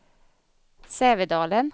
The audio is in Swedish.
Sävedalen